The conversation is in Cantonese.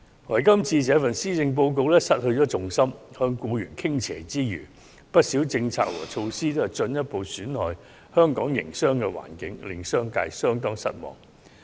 可是，今年的施政報告卻失去重心，向僱員傾斜之餘，不少政策和措施皆進一步損害香港的營商環境，令商界相當失望。